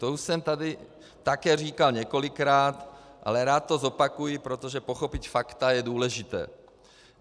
To už jsem tady také říkal několikrát, ale rád to zopakuji, protože pochopit fakta je důležité.